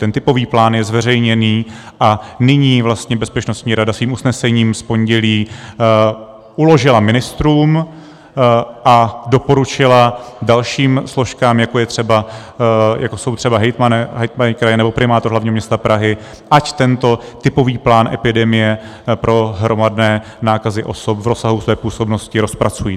Ten typový plán je zveřejněný a nyní vlastně Bezpečnostní rada svým usnesením z pondělí uložila ministrům a doporučila dalším složkám, jako jsou třeba hejtmani kraje nebo primátor hlavního města Prahy, ať tento typový plán epidemie pro hromadné nákazy osob v rozsahu své působnosti rozpracují.